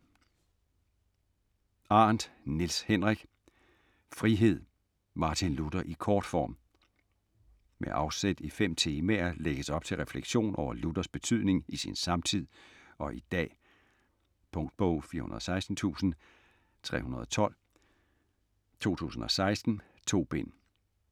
Arendt, Niels Henrik: Frihed: Martin Luther i kortform Med afsæt i fem temaer lægges op til refleksion over Luthers betydning i sin samtid og i dag. Punktbog 416312 2016. 2 bind.